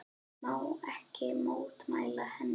Má ekki mótmæla henni.